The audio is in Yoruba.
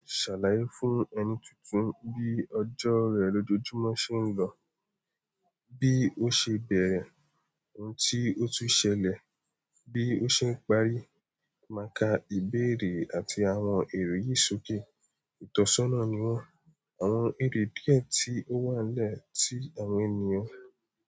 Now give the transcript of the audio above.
Ṣàlàyé fún ẹni tuntun bí ọjọ́ rẹ̀ lójoojúmọ́ ṣe ń lọ, bí ó ṣe bẹ̀rẹ̀, ohun tí ó tún ṣẹlẹ̀, bí ó ṣe ń parí. Màkà ìbéèrè àti àwọn èrò yìí sókè. Itọsọna ni wọn, àwọn èrè díẹ̀ tí ó wà nile tí àwọn ènìyàn.